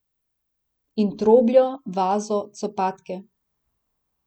In trobljo, vazo, copatke.